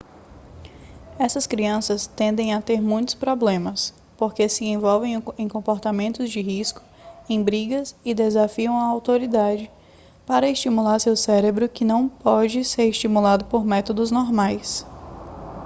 essas crianças tendem a ter muitos problemas porque se envolvem em comportamentos de risco em brigas e desafiam a autoridade para estimular seu cérebro que não pode ser estimulado por métodos normais